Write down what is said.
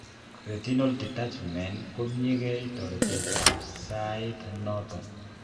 Retinal detachment komkyikei toretet ab saiit noton